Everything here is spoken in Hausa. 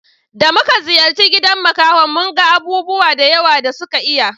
Da muka je ziyara gidan makaho mun ga abubuwa da yawa da suka iya